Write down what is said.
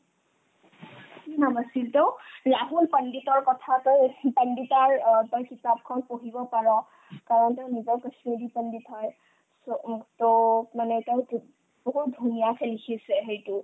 কি নাম আছিল তেওৰ ৰাহুল পণ্ডিতৰ কথাতে ৰচিত পণ্ডিতৰ অ তই কিতাপখন পঢ়িব পাৰ কাৰণ তেওঁ নিজেও কশ্মীৰী পণ্ডিত হয় so উম তেওঁক মানে তেওঁক বহুত ধুনীয়াকে লিখিছে সেইটো